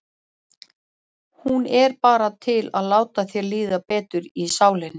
Hún er bara til að láta þér líða betur í sálinni.